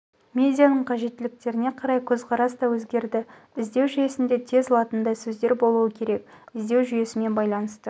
медианың қажеттіліктеріне қарай көзқарас та өзгерді іздеу жүйесінде тез латындай сөздер болуы керек іздеу жүйесімен байланысты